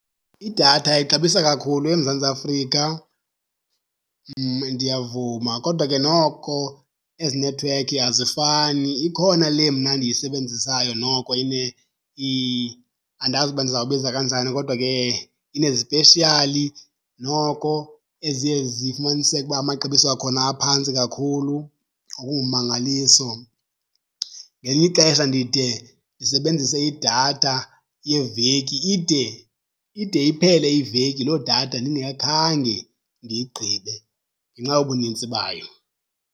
Idatha ixabisa kakhulu eMzantsi Afrika, ndiyavuma. Kodwa ke noko ezi nethiwekhi azifani, ikhona le mna ndiyisebenzisayo noko andazi uba ndiza kubiza kanjani kodwa ke inezipeshiyali noko eziye zifumaniseke ukuba amaxabiso akhona aphantsi kakhulu ngokungummangaliso. Ngelinye ixesha ndide ndisebenzise idatha yeveki ide ide iphele iveki loo datha ndingakhange ndiyigqibe ngenxa yobunintsi bayo.